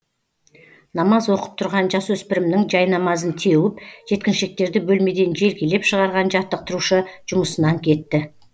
намаз оқып тұрған жасөспірімнің жайнамазын теуіп жеткіншектерді бөлмеден желкелеп шығарған жаттықтырушы жұмысынан кетті